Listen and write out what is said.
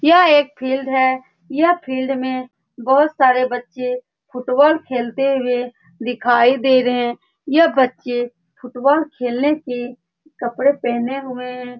यह एक फील्ड है। यह फील्ड में बहुत सारे बच्चे फुटबॉल खेलते हुए है दिखाई दे रहे है। यह बच्चे फुटबॉल खेलने की कपड़े पहने हुए है।